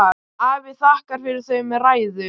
Afi þakkaði fyrir þau með ræðu.